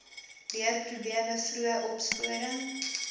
leerprobleme vroeë opsporing